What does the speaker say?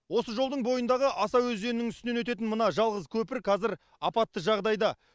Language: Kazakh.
осы жолдың бойындағы аса өзенінің үстінен өтетін мына жалғыз көпір қазір апатты жағдайда